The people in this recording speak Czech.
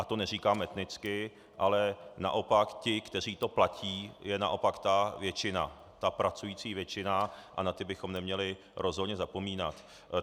A to neříkám etnicky, ale naopak ti, kteří to platí, jsou naopak ta většina, ta pracující většina, a na ty bychom neměli rozhodně zapomínat.